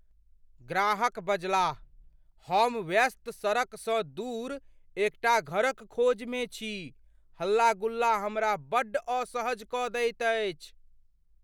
ग्राहकबजलाह, "हम व्यस्त सड़कसँ दूर एकटा घरक खोजमे छी, हल्ला गुल्ला हमरा बड्ड असहज कऽ दैत अछि।"